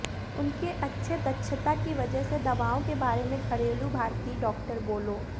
उनके अच्छे दक्षता की वजह से दवाओं के बारे में घरेलू भारतीय डॉक्टर बोलो